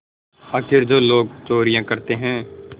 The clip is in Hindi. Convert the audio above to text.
आखिर जो लोग चोरियॉँ करते हैं